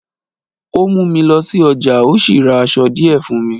ó mú mi lọ sí ọjà, ó sì ra aṣọ díẹ̀ fùn mi